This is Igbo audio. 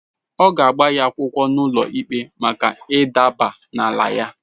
Ọ ga-agba ya akwụkwọ n’ụlọikpe maka ịdaba n’ala ya.